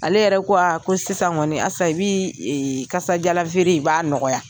Ale yɛrɛ ko aa ko sisan kɔni, Asa, i bi kasa diyalan feere i, b'a nɔgɔya.